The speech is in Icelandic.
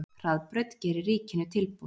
Hraðbraut gerir ríkinu tilboð